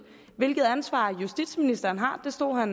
hvilket ansvar justitsministeren har det stod